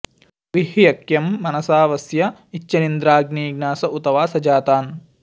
वि ह्यख्यं मनसा वस्य इच्छन्निन्द्राग्नी ज्ञास उत वा सजातान्